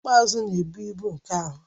Ọkpụkpụ azụ na-ebu ibu nke ahụ